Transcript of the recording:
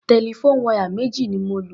Telephone wire méjì ni mo lò.